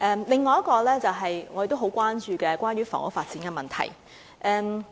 另一項議題是大家都很關注的房屋發展問題。